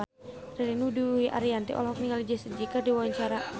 Ririn Dwi Ariyanti olohok ningali Jessie J keur diwawancara